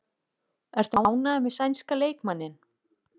Ertu ánægður með sænska leikmanninn?